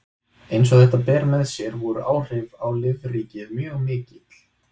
eins og þetta ber með sér voru áhrif á lífríkið mjög mikil